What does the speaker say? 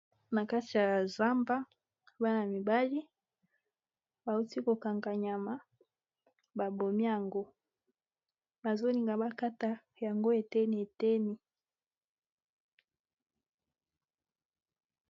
Na kati ya zamba bana mibali bawuti kokanga nyama ba bomi yango bazolinga bakata yango eteni eteni